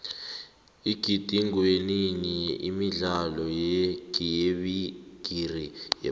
igidingwenini imidlalo yebigiri yephasi